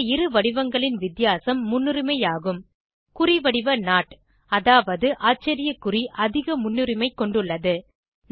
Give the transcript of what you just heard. இந்த இரு வடிவங்களின் வித்தியாசம் முன்னுரிமை ஆகும் குறிவடிவ நோட் அதாவது அதிக முன்னுரிமை கொண்டுள்ளது